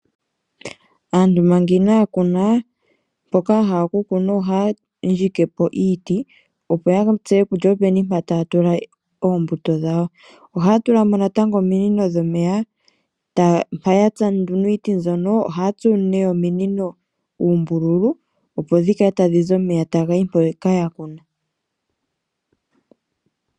Aantu manga inaya kuna mpoka yahala okukuna ohaya ndjike po iiti opo ya tseye kutya openi mpoka taya tula oombuto dhawo, ohaya tula mo natango ominino dhoomeya mpa yatsa nduno iiti mbyoka ohaya tsu ominino uumbululu opo dhikale tadhi zi omeya taga yi mpoka yakuna.